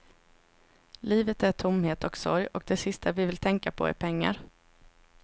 Livet är tomhet och sorg och det sista vi vill tänka på är pengar.